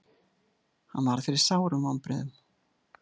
Hann varð fyrir sárum vonbrigðum.